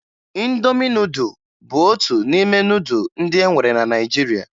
Ịndomi nudụ bụ otu n'ime nudụ ndị e nwere na Naịjirịa